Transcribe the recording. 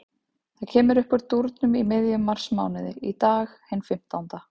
Það kemur uppúr dúrnum í miðjum marsmánuði, í dag, hinn fimmtánda.